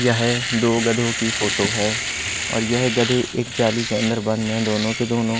यह दो गधों की फोटो है और यह गधे एक जाली के अंदर बंद हैं दोनों के दोनों--